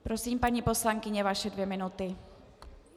Prosím, paní poslankyně, vaše dvě minuty.